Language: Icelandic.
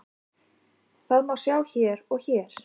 Það má sjá hér og hér.